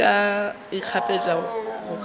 leka go ikgapeletša go kgaphela